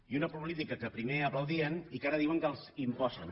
i una política que primer aplaudien i que ara diuen que els imposen